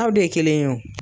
Aw de ye kelen ye wo.